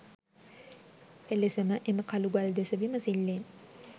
එලෙසම එම කළුගල් දෙස විමසිල්ලෙන්